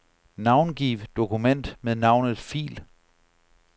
Navngiv dokument med navnet fil.